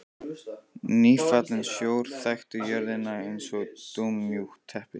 Nýfallinn sjór þakti jörðina eins og dúnmjúkt teppi.